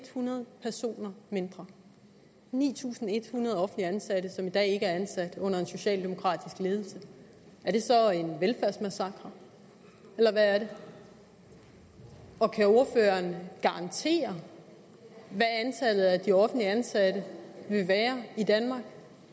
hundrede personer mindre ni tusind en hundrede offentligt ansatte som i dag ikke er ansat under en socialdemokratisk ledelse er det så en velfærdsmassakre eller hvad er det og kan ordføreren garantere hvad antallet af de offentligt ansatte vil være i danmark